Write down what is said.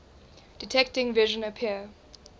detecting vision appear